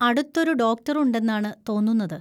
അടുത്തൊരു ഡോക്ടർ ഉണ്ടെന്നാണ് തോന്നുന്നത്.